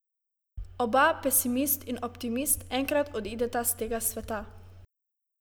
Oba, pesimist in optimist, enkrat odideta s tega sveta.